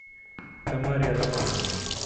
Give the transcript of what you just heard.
тамаре романовне